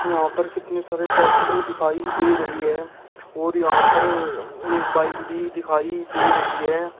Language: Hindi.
यहां पर कितने सारे ट्रैक्टर दिखाई दे रही है और यहां पर एक बाइक भी दिखाई दे रही है।